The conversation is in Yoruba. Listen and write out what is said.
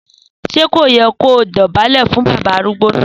Sẹ kọ yẹ kọ dọbàlẹ́ fún bàbá arúgbò na?